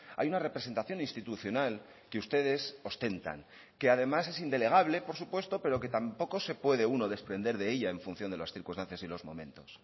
hay una representación institucional que ustedes ostentan que además es indelegable por supuesto pero que tampoco se puede uno desprender de ella en función de las circunstancias y los momentos